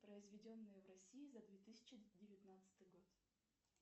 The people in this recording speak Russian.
произведенное в россии за две тысячи девятнадцатый год